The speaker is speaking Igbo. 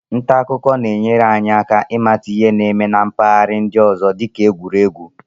Nta akụkọ na-enyere anyị aka ịmata ihe na-eme na mpaghara ndị ọzọ dị ka egwuregwu.